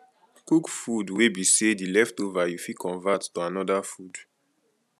cook food wey be sey di leftover you fit convert to anoda food